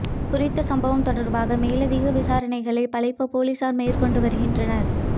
குறித்த சம்பவம் தொடர்பான மேலதிக விசாரணைகளை பளைப் பொலிசார் மேற்கொண்டு வருகின்றனர்